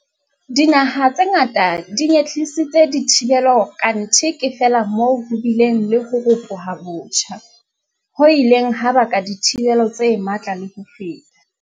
Dinaha tse ngata di nyehlisitse dithibelo, kanthe ke feela moo ho bileng le ho ropoha botjha, ho ileng ha baka dithibelo tse matla le ho feta.